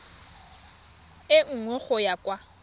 e nngwe go ya kwa